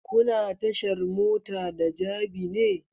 Kuna tashar mota da jabi ne?